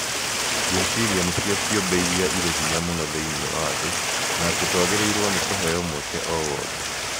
Ngwĩciria nĩcio ciũmbe iria irĩ hinya mũno thĩinĩ wa thĩ. Na atĩ twagĩrĩirũo nĩ kũheo mweke o wothe.